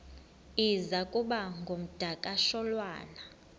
iza kuba ngumdakasholwana